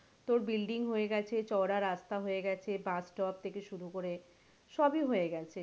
তোর building হয়ে গেছে চওড়া রাস্তা হয়ে গেছে bus stop থেকে শুরু করে সবই হয়ে গেছে।